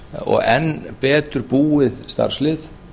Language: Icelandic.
og enn betur búið starfslið